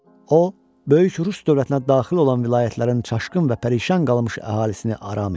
O, böyük Rus dövlətinə daxil olan vilayətlərin çaşqın və pərişan qalmış əhalisini aram etdi.